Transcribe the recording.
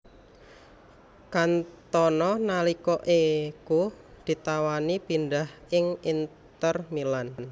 Cantona nalika iku ditawani pindhah ing Inter Milan